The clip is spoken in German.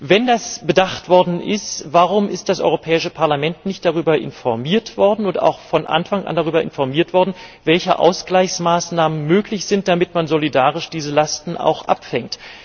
Wenn das bedacht worden ist, warum ist das Europäische Parlament nicht darüber informiert worden und auch von Anfang an darüber informiert worden, welche Ausgleichsmaßnahmen möglich sind, damit man solidarisch diese Lasten auch abfängt?